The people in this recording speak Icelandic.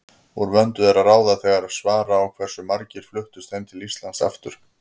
Úr vöndu er að ráða þegar svara á hversu margir fluttust heim til Íslands aftur.